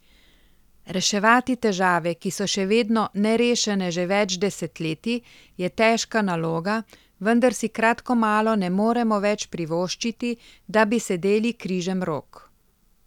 Reševati težave, ki so še vedno nerešene že več desetletij, je težka naloga, vendar si kratko malo ne moremo več privoščiti, da bi sedeli križem rok.